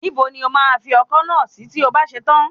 Níbo ni o máa fi ọkọ́ náà sí tí o bá ṣe tán?